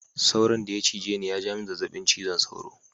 Sauron daya cije ni yaja mini zazzabin ciwon sauro.